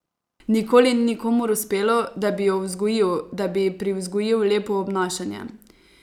Nikoli ni nikomur uspelo, da bi jo vzgojil, da bi ji privzgojil lepo obnašanje.